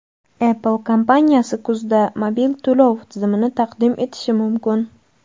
Apple kompaniyasi kuzda mobil to‘lov tizimini taqdim etishi mumkin.